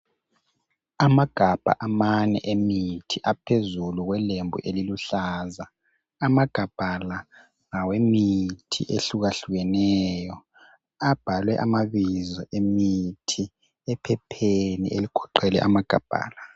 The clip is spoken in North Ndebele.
Amagabha amane emithi aphezulu kwelembu eliluhlaza . Amagabha la ngawemithi ehluka hlukeneyo Abhalwe amabizo emithi ephepheni eligoqele amagabha la .